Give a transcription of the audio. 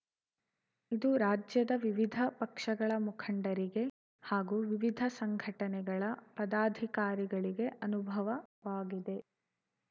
ಇದು ರಾಜ್ಯದ ವಿವಿಧ ಪಕ್ಷಗಳ ಮುಖಂಡರಿಗೆ ಹಾಗೂ ವಿವಿಧ ಸಂಘಟನೆಗಳ ಪದಾಧಿಕಾರಿಗಳಿಗೆ ಅನುಭವವಾಗಿದೆ